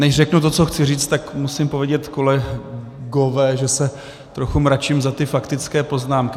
Než řeknu to, co chci říct, tak musím povědět, kolegové, že se trochu mračím za ty faktické poznámky.